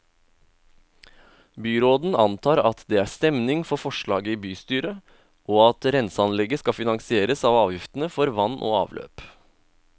Byråden antar at det er stemning for forslaget i bystyret, og at renseanlegget skal finansieres av avgiftene for vann og avløp.